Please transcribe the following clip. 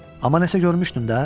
Amma nəsə görmüşdün də?